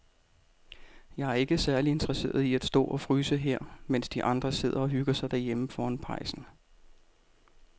Jeg er ikke særlig interesseret i at stå og fryse her, mens de andre sidder og hygger sig derhjemme foran pejsen.